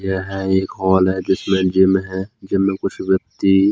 यह एक हॉल है जिसमें जिम है जिम में कुछ व्यक्ति--